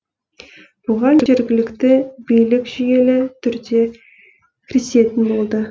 бұған жергілікті билік жүйелі түрде кірісетін болды